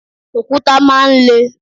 Òkúta máa ń le.